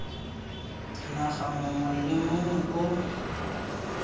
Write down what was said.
naga mongwe le mongwe o